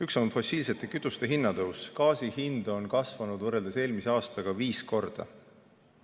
Üks on fossiilsete kütuste hinna tõus, gaasi hind on kasvanud võrreldes eelmise aastaga viis korda.